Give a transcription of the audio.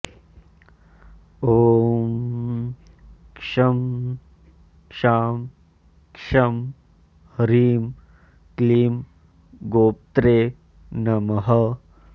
ॐ शं शां षं ह्रीं क्लीं गोप्त्रे नमः